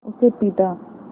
उसे पीटा